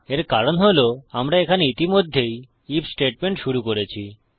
এর কারণ হল আমরা এখানে ইতিমধ্যেই আইএফ স্টেটমেন্ট শুরু করেছি